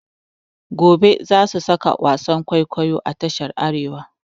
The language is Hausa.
Gobe za su saka wasan kwaikwayo a tashar Arewa.